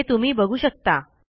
हे तुम्ही बघू शकता